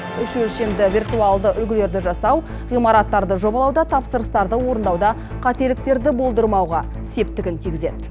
үш өлшемді виртуалды үлгілерді жасау ғимараттарды жобалауда тапсырыстарды орындауда қателіктерді болдырмауға септігін тигізеді